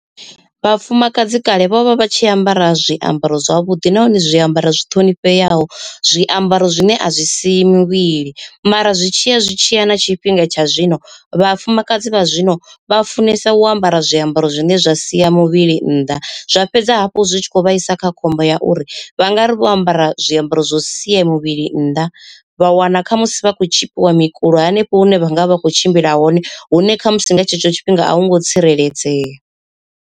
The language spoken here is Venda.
Vhafumakadzi kale vho vha vha tshi ambara zwiambaro zwavhuḓi nahone zwiambaro zwi ṱhonifheaho, zwiambaro zwine a zwi siyi mivhili. Mara zwi tshiya zwi tshiya na tshifhinga tsha zwino vhafumakadzi vha zwino vha funesa u ambara zwiambaro zwine zwa sia sia muvhili nnḓa. Zwa fhedza hafhu zwi tshi kho vhaisa kha khombo ya uri vha nga ri vho ambara zwiambaro zwo sia muvhili nnḓa vha wana kha musi vha khou tshipiwa mikulo hanefho hune vha nga vha vha kho tshimbila hone hune khamusi nga tshetsho tshifhinga a hu ngo tsireledzea.